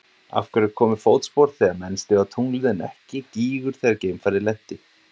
Af hverju komu fótspor þegar menn stigu á tunglið en ekki gígur þegar geimfarið lenti?